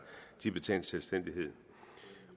tibetansk selvstændighed